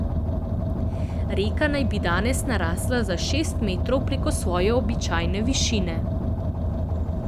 Reka naj bi danes narasla za šest metrov preko svoje običajne višine.